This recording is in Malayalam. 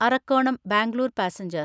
അറക്കോണം ബാംഗ്ലൂർ പാസഞ്ചർ